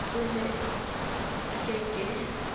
o ne o ke ke